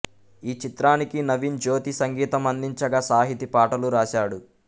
ఈ చిత్రానికి నవీన్ జ్యోతి సంగీతం అందించగా సాహితి పాటలు రాశాడు